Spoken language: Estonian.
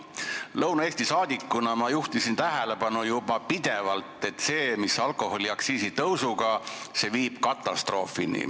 Lõuna-Eestist valitud saadikuna juhtisin ma pidevalt tähelepanu, et alkoholiaktsiisi tõus viib katastroofini.